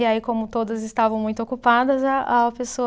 E aí, como todas estavam muito ocupadas, a a pessoa